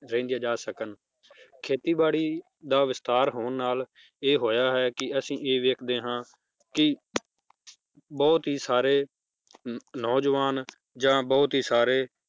ਰਹਿੰਦੀਆਂ ਜਾ ਸਕਣ ਖੇਤੀ ਬਾੜੀ ਦਾ ਵਿਸਤਾਰ ਹੋਣ ਨਾਲ ਇਹ ਹੋਇਆ ਹੈ ਕੀ ਅਸੀਂ ਇਹ ਵੇਖਦੇ ਹਾਂ ਕੀ ਬਹੁਤ ਹੀ ਸਾਰੇ ਨੌਜਵਾਨ ਜਾਂ ਬਹੁਤ ਹੀ ਸਾਰੇ